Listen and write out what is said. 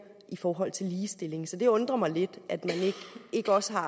i forhold til ligestillingen så det undrer mig lidt at man ikke også har